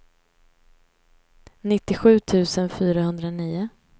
nittiosju tusen fyrahundranio